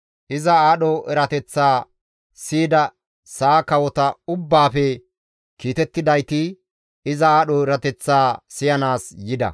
Iza aadho erateththaa siyida sa7a kawota ubbaafe kiitettidayti iza aadho erateththaa siyanaas yida.